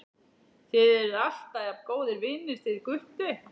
Þið eruð alltaf jafn góðir vinir þið Gutti?